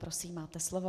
Prosím, máte slovo.